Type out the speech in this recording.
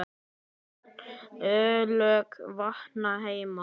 ólög vakna heima.